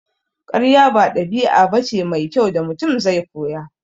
Karya ba ɗabi'a bace mai kyau da Mutum zai koya